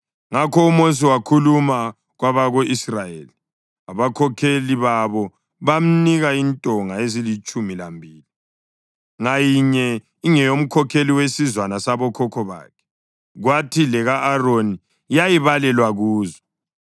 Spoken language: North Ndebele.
Ngakho uMosi wakhuluma kwabako-Israyeli, abakhokheli babo bamnika intonga ezilitshumi lambili, ngayinye ingeyomkhokheli wesizwana sabokhokho bakhe, kwathi leka-Aroni yayibalelwa kuzo.